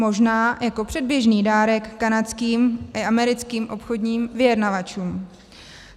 Možná jako předběžný dárek kanadským i americkým obchodním vyjednavačům.